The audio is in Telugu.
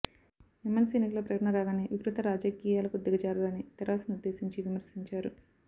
ఎమ్మెల్సీ ఎన్నికల ప్రకటన రాగానే వికృత రాజకీయాలకు దిగజారారని తెరాసనుద్దేశించి విమర్శించారు